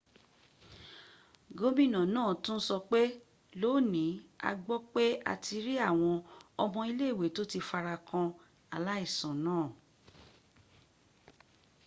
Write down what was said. gómìnà náà tún sọpé lónìí a gbọ́ pé a ti rí àwọn ọmọ ilé ìwé tó ti farakan aláìsàn náà